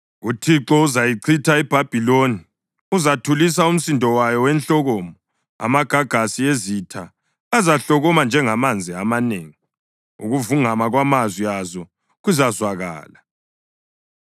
UThixo uzayichitha iBhabhiloni; uzathulisa umsindo wayo wenhlokomo. Amagagasi ezitha azahlokoma njengamanzi amanengi; ukuvungama kwamazwi azo kuzazwakala.